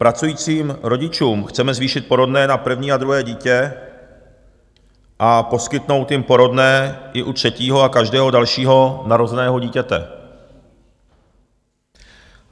Pracujícím rodičům chceme zvýšit porodné na první a druhé dítě a poskytnout jim porodné i u třetího a každého dalšího narozeného dítěte.